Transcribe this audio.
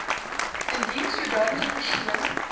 indien sodanige persoon